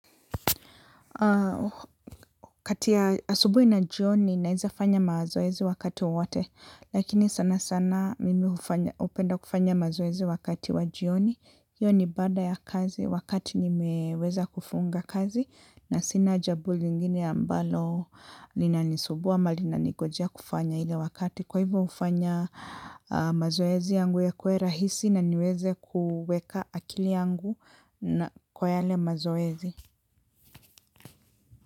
Kati ya asubuhi na jioni, naeza fanya mazoezi wakati wowote. Lakini sana sana mimi hupenda kufanya mazoezi wakati wa jioni. Hiyo ni baada ya kazi, wakati nimeweza kufunga kazi. Na sina jambo lingine ambalo linanisumbua ama linaningojea kufanya ile wakati. Kwa hivyo hufanya mazoezi yangu yakuwe rahisi na niweze kuweka akili yangu kwa yale mazoezi.